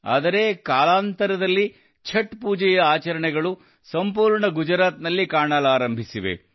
ಆದರೆ ಕಾಲಾನಂತರದಲ್ಲಿ ಛಠ್ ಪೂಜೆಯ ಚರಣೆಗಳು ಸಂಪೂರ್ಣ ಗುಜರಾತ್ ನಲ್ಲಿ ಕಾಣಲಾರಂಭಿಸಿವೆ